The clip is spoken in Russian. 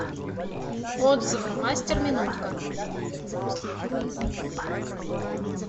отзывы мастер минутка